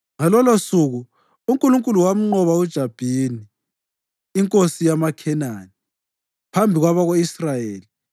Ngalolosuku uNkulunkulu wamnqoba uJabhini, inkosi yamaKhenani, phambi kwabako-Israyeli.